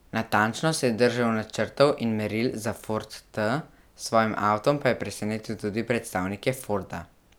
Natančno se je držal načrtov in meril za Ford T, s svojim avtom pa je presenetil tudi predstavnike Forda.